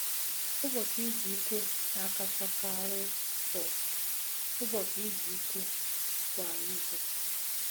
Ụbọchị izu ike na-akachakarị bụ ụbọchị izu ike kwa izu.